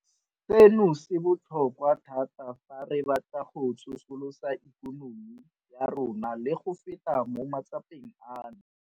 Seno se botlhokwa thata fa re batla go tsosolosa ikonomi ya rona le go feta mo matsapeng ano.